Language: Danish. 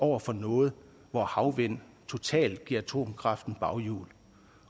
over for noget hvor havvind totalt giver atomkraften baghjul